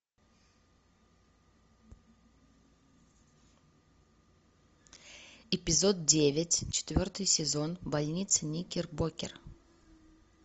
эпизод девять четвертый сезон больница никербокер